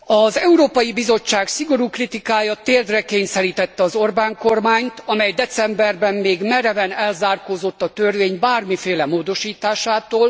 Az Európai Bizottság szigorú kritikája térdre kényszerítette az Orbán kormányt, amely decemberben még mereven elzárkózott a törvény bármiféle módosításától.